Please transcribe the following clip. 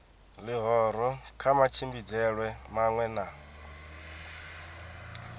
ḽihoro kha matshimbidzelwe maṅwe na